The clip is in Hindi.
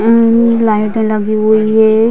लाइटे लगी हुई है ।